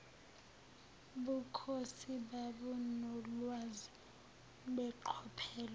bukhosi babunolwazi beqophelo